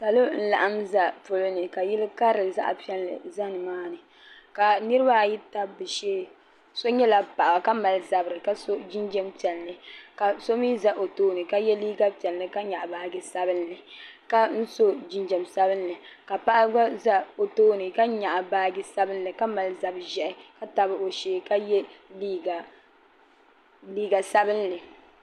Salo n laɣim za poloni ka yili karili zaɣa piɛlli za nimaani ka niriba ayi tabi bɛ shee so nyɛla paɣa ka mali zabri ka so jinjiɛm piɛlli ka so mee za o tooni ka ye liiga piɛlli ka nyaɣi baaji sabinli ka so jinjiɛm sabinli ka paɣa gba za o tooni ka nyaɣi baaji sabinli ka mali zab'ʒehi ka tabi o shee ka ye liiga sabinli.